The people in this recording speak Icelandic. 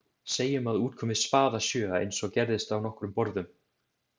Segjum að út komi spaðasjöa, eins og gerðist á nokkrum borðum.